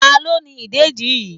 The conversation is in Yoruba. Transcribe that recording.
Ta ló ni ìdẹ̀dí yí?